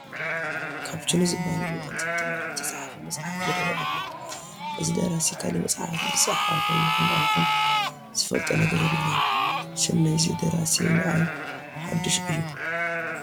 ካፐችኖ ዝበሃል ብዮሐንስ ሐብተማርያም ዝተፃሕፈ መፅሓፍ ይርአ ኣሎ፡፡ እዚ ደራሲ ካልእ መፅሓፍ ዝፀሓፈ ይኹን ኣይኹን ዝፈልጦ ነገር የብለይን፡፡ ሽም ናይዚ ደራሲ ንዓይ ሓዱሽ እዩ፡፡